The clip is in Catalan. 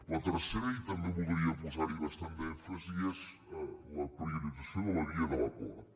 el tercer i també voldria posar hi bastant d’èmfasi és la priorització de la via de l’acord